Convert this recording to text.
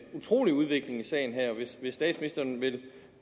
utrolig udvikling i sagen her hvis statsministeren vil